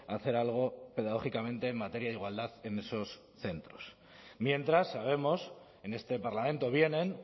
hacer algo pedagógicamente en materia de igualdad en esos centros mientras sabemos en este parlamento vienen